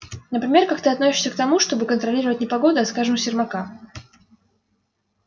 например как ты относишься к тому чтобы контролировать не погоду а скажем сермака